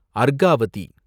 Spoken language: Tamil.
அர்காவதி